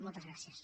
moltes gràcies